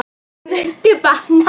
Það mundi batna.